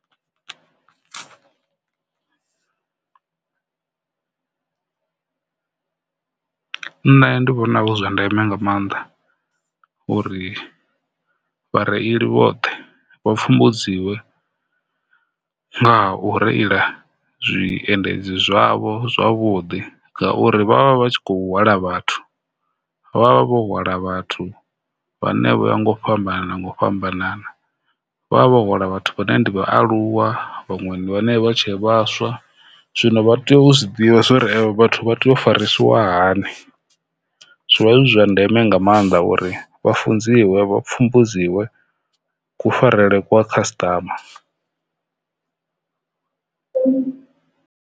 Nṋe ndi vhona hu zwa ndeme nga mannḓa uri vhareili vhoṱhe vha pfhumbudziwe nga ha u reila zwiendedzi zwavho zwavhuḓi ngauri vha vha tshi khou hwala vhathu vha vha vho hwala vhathu vhane vho ya nga u fhambanana nga u fhambanana, vha vha hwala vhathuvhane ndi vhaaluwa vhaṅwe ndi bhane vha tshe vhaswa zwino vha tea u zwi ḓivha uri avho vhathu vha farisiwa hani zwi vha zwi zwa ndeme nga mannḓa uri vha funziwe vha pfhumbudziwe kufarele kwa khasiṱama .